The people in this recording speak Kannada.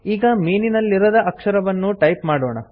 ಈಗ ಮೀನಿನಲ್ಲಿರದ ಅಕ್ಷರವನ್ನು ಟೈಪ್ ಮಾಡೋಣ